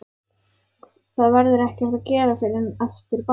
Það verður ekkert að gera fyrr en eftir ball.